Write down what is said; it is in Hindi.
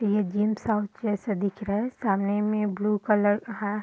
ये जिम साउथ जैसा दिख रहा है सामने में ब्लू कलर है।